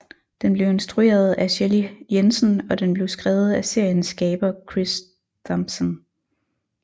Den blev instrueret af Shelley Jensen og den blev skrevet af seriens skaber Chris Thompson